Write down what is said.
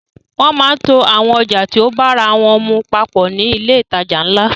Wọ́n máa ń to àwọn ọjà tí o bára wọ́n mu papọ̀ ní ilé ìtajà ńlá.